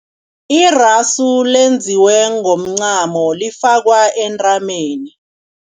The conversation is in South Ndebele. Irasu lenziwe ngomncamo lifakwa entanyeni.